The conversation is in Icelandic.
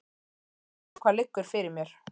Ég veit hvað liggur fyrir mér.